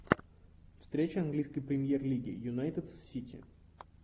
встреча английской премьер лиги юнайтед с сити